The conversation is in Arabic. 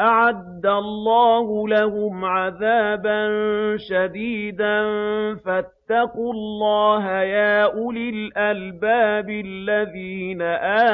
أَعَدَّ اللَّهُ لَهُمْ عَذَابًا شَدِيدًا ۖ فَاتَّقُوا اللَّهَ يَا أُولِي الْأَلْبَابِ الَّذِينَ